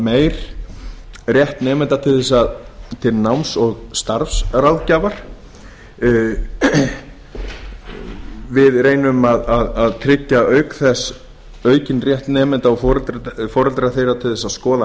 meir rétt nemenda til náms og starfsráðgjafar við reynum að tryggja auk þess aukinn rétt nemenda og foreldra þeirra til að skoða